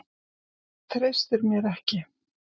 Treystir mér ekki.